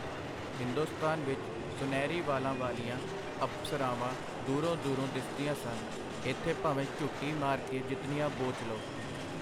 ਹਿੰਦੁਸਤਾਨ ਵਿਚ ਸੁਨਹਿਰੀ ਵਾਲਾਂ ਵਾਲੀਆਂ ਅਪਸਰਾਵਾਂ ਦੂਰੋਂ-ਦੂਰੋਂ ਦਿਸਦੀਆਂ ਸਨ, ਇਥੇ ਭਾਵੇਂ ਝੁੱਟੀ ਮਾਰ ਕੇ ਜਿਤਨੀਆਂ ਬੋਚ ਲਓ.